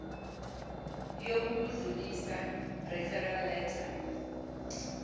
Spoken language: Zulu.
yokukudlulisa referral letter